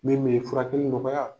Min bɛ furakɛli nɔgɔya.